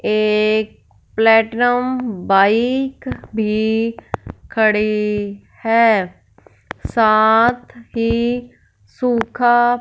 एक platinum bike भी खड़ी है साथ ही सुखा--